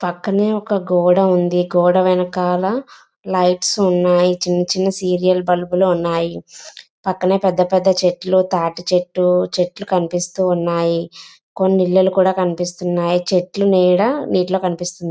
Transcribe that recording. పక్కనే ఒక గోడ ఉంది గోడ వెనకాల లైట్స్ ఉన్నాయి చిన్న చిన్న సీరియల్ బల్బులు ఉన్నాయి పక్కనే పెద్ద పెద్ద చెట్లు తాటి చెట్టు చెట్లు కనిపిస్తు ఉన్నాయి కొన్ని ఇల్లులు కూడా కనిపిస్తున్నాయి చెట్లు నీడ నీటిలో కనిపిస్తు --